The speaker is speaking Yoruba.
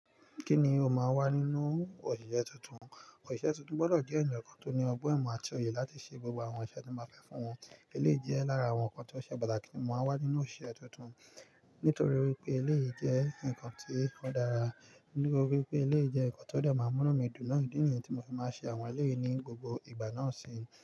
Kíni ó máa wà nínú òṣìṣẹ́ tuntun? Òṣìṣẹ́ tuntun gbọ́dọ̀ jẹ́ ènìyàn kan tó ní ọgbọ́n imo àti òye láti ṣe gbogbo àwọn iṣẹ́ ti n ba fẹ́ fún wọn. Eleyii jẹ́ lára àwọn nǹkan tó ṣe pàtàkì ti mo máa n wà nínú òṣìṣẹ́ tuntun. Nítorí wípé eleyii jẹ́ nǹkan tí o dára. Nítorí wípé eleyii jẹ́ nǹkan tó de máa n múnu mi dùn. Idí ni yí tí mo fi máa ń ṣe àwọn e yìí ní gbogbo ìgbà náà sì.